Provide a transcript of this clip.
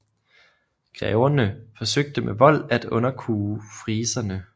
Greverne forsøgte med vold at underkue friserne